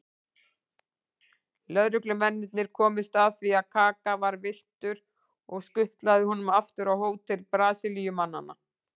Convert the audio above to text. Lögreglumennirnir komust að því að Kaka var villtur og skutluðu honum aftur á hótel Brasilíumanna.